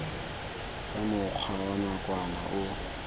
tsa mokgwa wa nakwana o